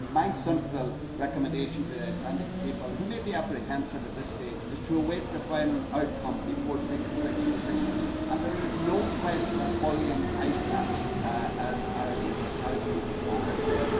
My simple recommendation to the Icelandic people, who may be apprehensive at this stage, is to await the final outcome before taking fixed positions. There is no question of bullying Iceland, as Arlene McCarthy has said.